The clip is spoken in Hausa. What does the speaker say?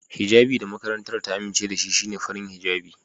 Hijjabi da makarantar ta amince da shi shine farin hijjabi.